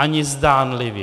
Ani zdánlivě.